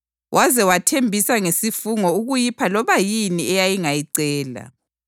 waze wathembisa ngesifungo ukuyipha loba yini eyayingayicela.